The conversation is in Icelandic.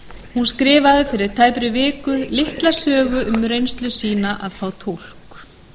hún skrifaði fyrir tæpri viku litla sögu um reynslu sína af að fá túlk